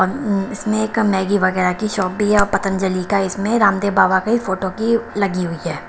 और इसमें एक मैगी वगैरह की शॉप भी है और पतंजलि का इसमें रामदेव बाबा के फोटो की लगी हुई है।